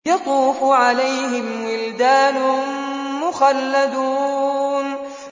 يَطُوفُ عَلَيْهِمْ وِلْدَانٌ مُّخَلَّدُونَ